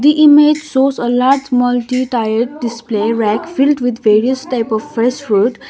the image shows a large multi tiled display rack filled with various type of fresh fruit.